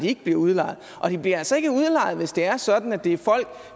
ikke bliver udlejet og de bliver altså ikke udlejet hvis det er sådan at det er folk